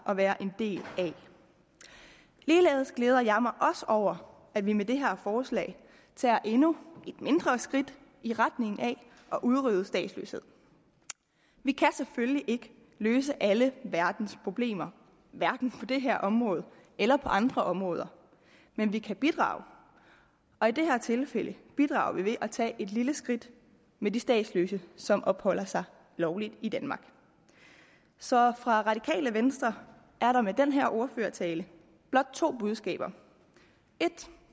at være en del af ligeledes glæder jeg mig over at vi med det her forslag tager endnu et mindre skridt i retning af at udrydde statsløshed vi kan selvfølgelig ikke løse alle verdens problemer hverken på det her område eller på andre områder men vi kan bidrage og i det her tilfælde bidrager vi ved at tage et lille skridt med de statsløse som opholder sig lovligt i danmark så fra radikale venstre er der med den her ordførertale blot to budskaber